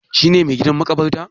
Shi ne mai gadin maƙabarka?